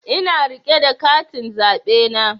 Ina rike da katin zaɓe na